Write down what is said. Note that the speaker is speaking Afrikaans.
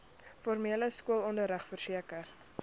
formele skoolonderrig verseker